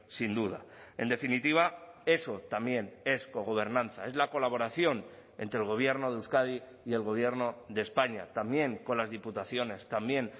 sin duda en definitiva eso también es cogobernanza es la colaboración entre el gobierno de euskadi y el gobierno de españa también con las diputaciones también